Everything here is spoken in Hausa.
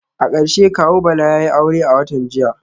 A karshe kawu Bala yayi aure a watan jiya